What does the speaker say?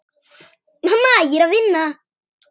Mamma, ég er að vinna.